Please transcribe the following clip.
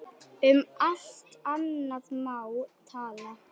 Um allt annað má tala.